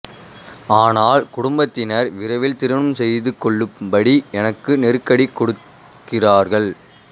ஆனால் குடும்பத்தினர் விரைவில் திருமணம் செய்துகொள்ளும்படி எனக்கு நெருக்கடி கொடுக்கிறார்கள்